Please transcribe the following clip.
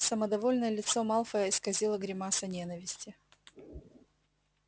самодовольное лицо малфоя исказила гримаса ненависти